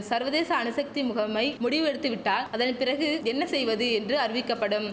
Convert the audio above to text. சர்வதேச அணுசக்தி முகமை முடிவு எடுத்துவிட்டால் அதன் பிறகு என்ன செய்வது என்று அறிவிக்கப்படும்